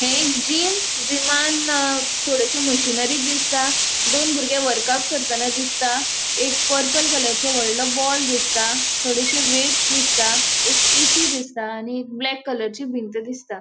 ह्ये एक जिम जिमान थोडॅशो मशीनरी दिसता. दोन बुर्गे वर्काउट करताना दिसता. एक पर्पल कलरचो वोडलों बॉल दिसता थोडॅशो वेट्स दिसता. एक ऐ.सी. दिसता आणि एक ब्लैक कलरची भिंत दिसता.